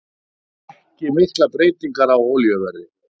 Ekki miklar breytingar á olíuverði